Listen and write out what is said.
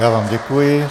Já vám děkuji.